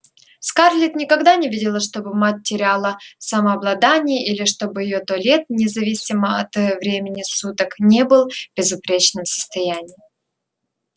скарлетт никогда не видела чтобы мать теряла самообладание или чтобы её туалет независимо от времени суток не был в безупречном состоянии